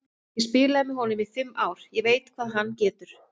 Ég spilaði með honum í fimm ár, ég veit hvað hann getur.